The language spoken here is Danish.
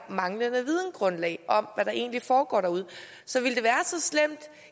manglende vidensgrundlag om hvad der egentlig foregår derude så ville det